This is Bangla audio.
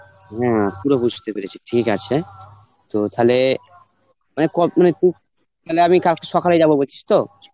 হ্যাঁ পুরো বুঝতে পেরেছি. ঠিক আছে তো থালে মানে ক~ মানে কু~ মানে আমি কালকে সকালে যাব বুছিস তো?